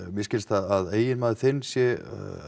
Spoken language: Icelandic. mér skilst að eiginmaður þinn sé